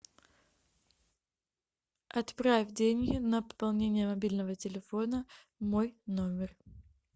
отправь деньги на пополнение мобильного телефона мой номер